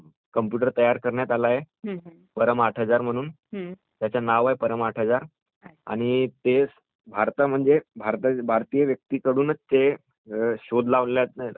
परम आठ हजार म्हणून...त्याचे नाव आहे परम आठ हजार. आणि ते भारतामध्ये भारतीय व्यक्ति कडूनच शोध लावण्यात आले आहे ....विजय भटकर म्हणून